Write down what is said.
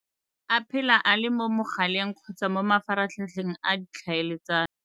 A phela a le mo mogaleng kgotsa mo mafaratlhatlheng a ditlhaeletsano.